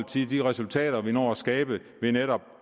det er netop